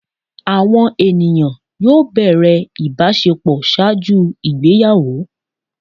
Awọn eniyan yoo bẹrẹ ibaṣepọ ṣaaju igbeyawo